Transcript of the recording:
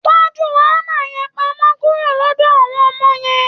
Tọ́jú hámà yẹn pamọ́ kúrò lọ́dọ̀ àwọn ọmọ yẹn.